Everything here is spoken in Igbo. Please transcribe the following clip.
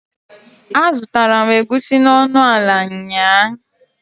A zutara m Egusi n'onuala nyaa